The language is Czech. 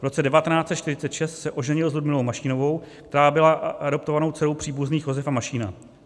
V roce 1946 se oženil s Ludmilou Mašínovou, která byla adoptovanou dcerou příbuzných Josefa Mašína.